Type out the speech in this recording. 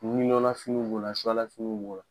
nafiniw b'o la lafiniw b'o la.